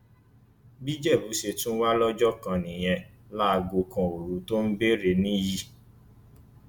bí ìjẹbù ṣe tún wà lọjọ kan nìyẹn láago kan òru tó ń béèrè níyì